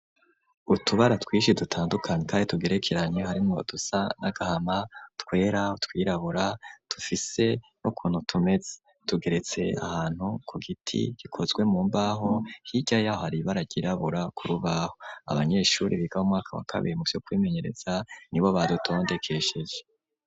Utubara twishi dutandukanye kare tugerekeranye harimwo badusa n'agahama twera twirabura tufise n'ukuntu tumetse tugeretse ahantu ku giti gikozwe mu mbaho hirya yaho hari ibara ryirabura ku rubaho abanyeshuri bigabo umwaka wa kabiri muvyo kbimenyereza nibo badutondekesheje.